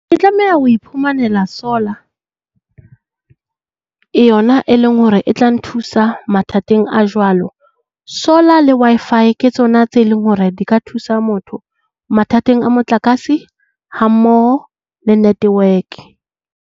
Tlameha ho iphumanela solar yona e leng hore e tla nthusa mathateng a jwalo. Solar le Wi-Fi ke tsona tse leng hore di ka thusa motho mathateng a motlakase hammoho le network.